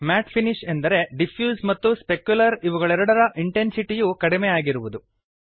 mat finish ಎಂದರೆ diffuse ಮತ್ತು specular ಇವುಗಳೆರಡರ ಇಂಟೆನ್ಸಿಟಿ ಯು ಕಡಿಮೆ ಆಗಿರುವುದು